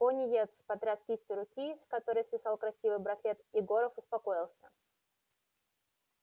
пониетс потряс кистью руки с которой свисал красивый браслет и горов успокоился